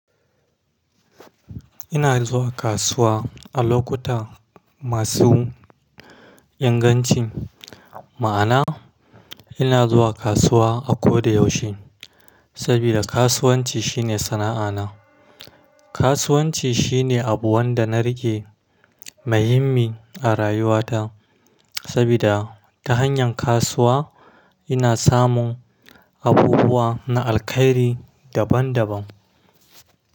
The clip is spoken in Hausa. Ina zuwa kasuwa a lokuta masu inganci. Ma'ana, ina zuwa kasuwa a ko da yaushe. Saboda kasuwanci shine sana'ana. Kasuwanci shine abu wanda na rike muhimmi a rayuwata. Saboda ta hanyar kasuwa ina samun abubuwa na alkairi daban daban.